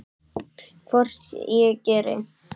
Hvort ég geri!